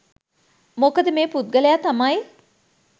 මොකද මේ පුද්ගලයා තමයි